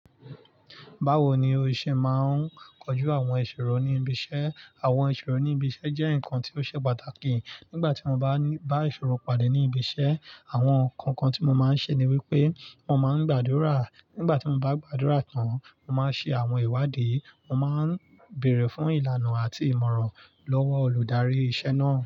Báwo ni o ṣe máa ń kojú àwọn ìṣòro ní ibi iṣẹ́? Àwọn ìṣòro ní ibi iṣẹ́ jẹ́ nǹkan tí ó ṣe pàtàkì. Nígbà tí mo bá ní, bá ìṣòro padà ní ibi iṣẹ́, àwọn nǹkan kan tí mo máa ń ṣe ni wípé mo máa ń gbàdúrà. Nígbà tí mo bá gbàdúrà tán, mo máa ń ṣe àwọn ìwádìí, mo máa ń bèèrè fún ìlànà àti ìmọ̀ràn lọ́wọ́ olùdarí iṣẹ́ náà.